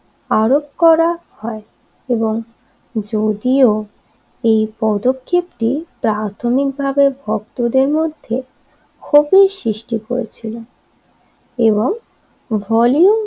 আরোপ করা হয় এবং যদিও এই পদক্ষেপটি প্রাথমিকভাবে ভক্তদের মধ্যে ক্ষতির সৃষ্টি করেছিল এবং ভলিউম